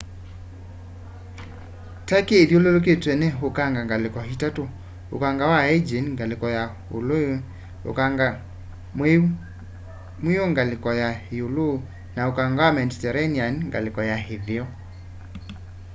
turkey ithyululitwe ni ukanga ngaliko itatu ũkanga wa aegean ngaliko ya ulwe ukanga mwiu ngaliko ya iulu na ukanga wa mediterranean ngaliko ya itheo